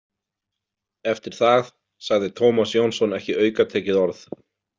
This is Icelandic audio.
Eftir það sagði Tómas Jónsson ekki aukatekið orð.